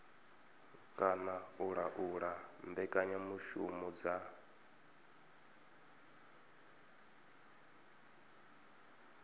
kana u laula mbekanyamushumo dza